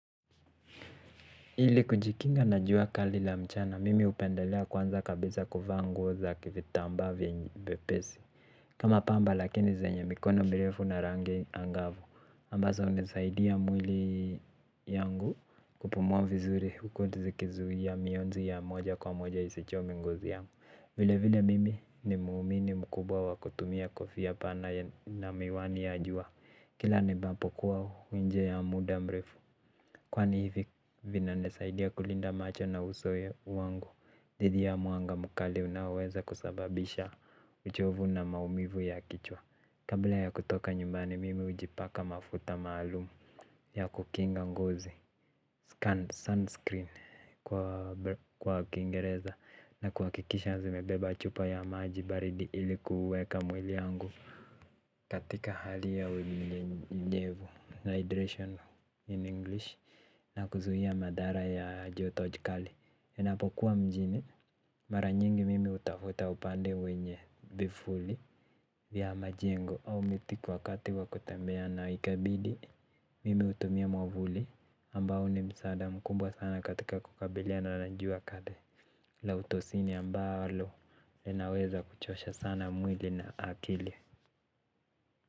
Ili kujikinga na jua kali la mchana, mimi hupendelea kwanza kabisa kuvaa nguo za vitambaa vyepesi. Kama pamba lakini zenye mikono mirefu na rangi angavu. Ambazo hunisaidia mwili yangu kupumua vizuri huku zikizuia mionzi ya moja kwa moja isichome ngozi yangu. Vile vile mimi ni muumini mkubwa wa kutumia kofia pana na miwani ya jua. Kila niendapo kwao huu njia ya muda mrefu. Kwani hivi vinanisaidia kulinda macho na uso wangu dhidi ya mwanga mkali unaoweza kusababisha uchovu na maumivu ya kichwa. Kabla ya kutoka nyumbani mimi ujipaka mafuta maalum ya kukinga ngozi sunscreen kwa kiingereza na kuakikisha zimebeba chupa ya maji baridi ili kuweka mwili yangu. Katika hali ya unyenyevu, hydration in English na kuzuhia madhara ya joto jikali ninapo kuwa mjini mara nyingi mimi utafuta upande wenye vifuli vya majengo au miti kwa wakati wa kutembea na ikabidi mimi utumia mwavuli ambao ni msada mkubwa sana katika kukabiliana na jua kali na utosini ambalo inaweza kuchosha sana mwili na akili.